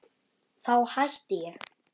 Þá hætti ég.